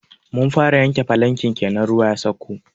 Mun fara yanke falanken kenan ruwa ya sauko.